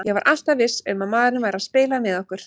Ég var alltaf viss um að maðurinn væri að spila með okkur.